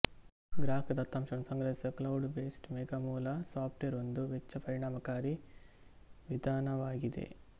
ಗ್ರಾಹಕ ದತ್ತಂಶಗಳನ್ನು ಸಂಗ್ರಹಿಸುವ ಕ್ಲೌಡ್ ಬೇಸ್ಡ್ ಮೇಘ ಮೂಲ ಸಾಫ್ಟ್ವೇರ್ ಒಂದು ವೆಚ್ಚ ಪರಿಣಾಮಕಾರಿ ವಿಧಾನವಗಿದೆ